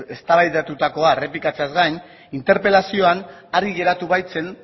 eztabaidatutakoa errepikatzeaz gain interpelazioan argi geratu baitzen